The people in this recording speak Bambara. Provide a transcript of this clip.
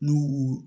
N'u